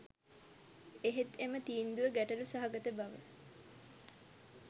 එහෙත් එම තීන්දුව ගැටළු සහගත බව